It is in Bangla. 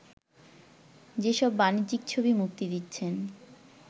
যেসব বাণিজ্যিক ছবি মুক্তি দিচ্ছেন